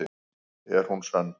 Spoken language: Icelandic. Er hún sönn?